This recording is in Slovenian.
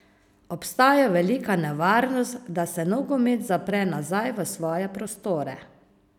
Obstaja velika nevarnost, da se nogomet zapre nazaj v svoje prostore.